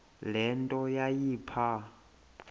le nto yayipha